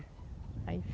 Aí